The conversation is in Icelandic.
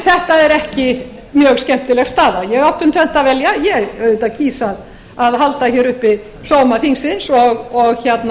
er ekki mjög skemmtileg staða ég átti um tvennt að velja ég auðvitað kýs að halda hér uppi sóma þingsins og